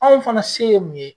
Anw fana se ye mun ye?